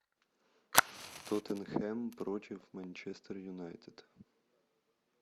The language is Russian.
тоттенхэм против манчестер юнайтед